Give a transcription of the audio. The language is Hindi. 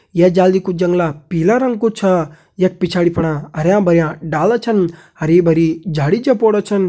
ये जालि कु जंगला पीला रंग कु छा यख पिछाड़ी फणा हरयां भरयां डाला छन हरी भरी झाड़ी झपोड़ा छन।